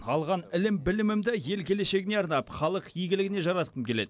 алған ілім білімімді ел келешегіне арнап халық игілігіне жаратқым келеді